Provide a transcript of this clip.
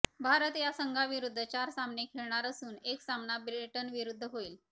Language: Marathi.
भारत या संघाविरुद्ध चार सामने खेळणार असून एक सामना ब्रिटनविरुद्ध होईल